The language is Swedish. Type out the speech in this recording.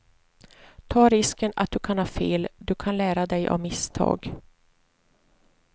Ta risken att du kan ha fel, du kan lära dig av misstag.